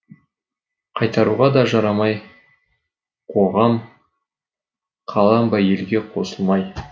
қайтаруға да жарамай қоғам қалам ба елге қосылмай